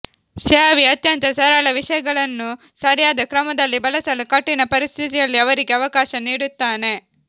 ಸ್ಯಾವಿ ಅತ್ಯಂತ ಸರಳ ವಿಷಯಗಳನ್ನು ಸರಿಯಾದ ಕ್ರಮದಲ್ಲಿ ಬಳಸಲು ಕಠಿಣ ಪರಿಸ್ಥಿತಿಯಲ್ಲಿ ಅವರಿಗೆ ಅವಕಾಶ ನೀಡುತ್ತಾನೆ